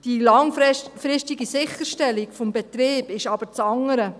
Die langfristige Sicherstellung des Betriebs ist aber das andere.